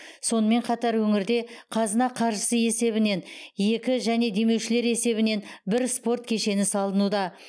сонымен қатар өңірде қазына қаржысы есебінен екі және демеушілер есебінен бір спорт кешені салынуда